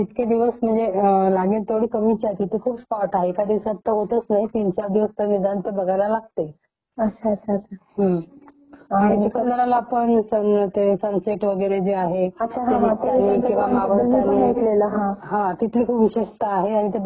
हम्म . चिखलदराला पण सनसेट वगैरे जे आहे ते मावळताना हा तिथले खूप विशेषतः आहे आणि ते बघायला च पर्यटन लोक बरेचसे जात असतात तिथे .त्यामुळे इट्स गुडलुकिंग खूप छान ब्युटीफुल .हम्म